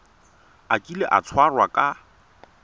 a kile a tshwarwa ka